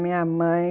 Minha mãe.